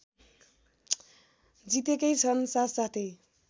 जितेकै छन् साथसाथै